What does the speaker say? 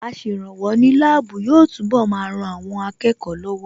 Aṣèrànwọ́ ní láàbù yóò túnbọ̀ máa ran àwọn akẹ́kọ̀ọ́ lọ́wọ́